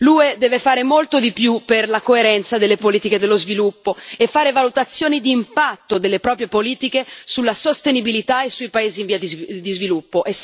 L'UE deve fare molto di più per la coerenza delle politiche dello sviluppo e fare valutazioni di impatto delle proprie politiche sulla sostenibilità e sui paesi in via di sviluppo.